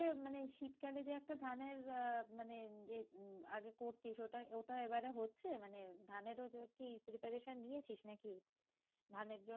মানে শীতকালে যে একটা ধানের আহ মানে যে আগে করতিস ওটা ওটা এবারে হচ্ছে? মানে ধানেরও কি preparation নিয়েছিস নাকি? ধানের জন্য